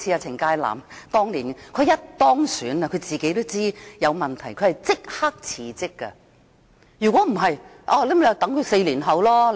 程介南當年當選後，他知道有問題便立即辭職，否則選民便要等待4年。